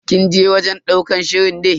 Kin je wajen ɗaukar shirin ne?